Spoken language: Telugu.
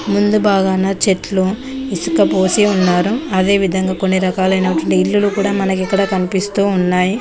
ముందు భాగాన చెట్లు ఇసుకపోసి ఉన్నారు అదేవిధంగా కొన్ని రకాలైన కొన్ని ఇల్లులు కూడా మనకు ఇక్కడ కనిపిస్తూ ఉన్నాయి.